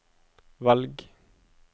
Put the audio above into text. velg